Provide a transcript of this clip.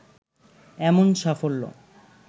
এমন সাফল্য